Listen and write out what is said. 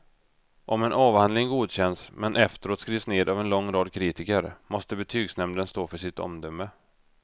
Om en avhandling godkänts men efteråt skrivs ned av en lång rad kritiker måste betygsnämnden stå för sitt omdöme.